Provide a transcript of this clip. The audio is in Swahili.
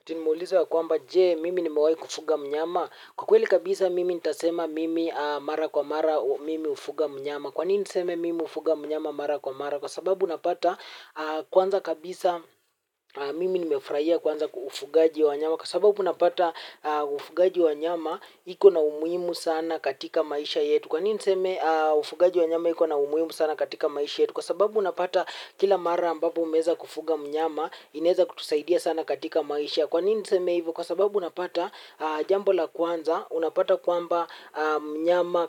Eti mmeuliza kwamba je mimi nimewahi kufuga mnyama. Kwa kweli kabisa mimi nitasema mimi mara kwa mara mimi hufuga mnyama. Kwanini niseme mimi hufuga mnyama mara kwa mara? Kwa sababu unapata kwanza kabisa mimi nimefurahia kwanza ufugaji wa wanyama. Kwa sababu unapata ufugaji wa nyama iko na umuhimu sana katika maisha yetu. Kwanini niseme ufugaji wa nyama iko na umuhimu sana katika maisha yetu. Kwa sababu unapata kila mara ambapo umeweza kufuga mnyama inaweza kutusaidia sana katika maisha. Kwa nini niseme hivyo, kwa sababu unapata jambo la kwanza, unapata kwamba mnyama